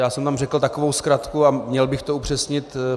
Já jsem tam řekl takovou zkratku a měl bych to upřesnit.